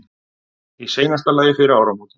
Í seinasta lagi fyrir áramótin.